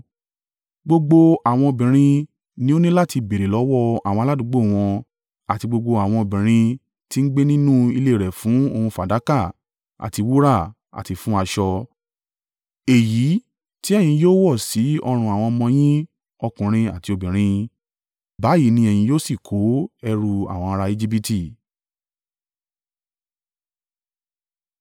Gbogbo àwọn obìnrin ni ó ní láti béèrè lọ́wọ́ àwọn aládùúgbò wọn àti gbogbo àwọn obìnrin ti ń gbé nínú ilé rẹ fún ohun fàdákà àti wúrà àti fún aṣọ, èyí ti ẹ̀yin yóò wọ̀ sí ọrùn àwọn ọmọ yín ọkùnrin àti obìnrin. Báyìí ni ẹ̀yin yóò sì kó ẹrù àwọn ará Ejibiti.”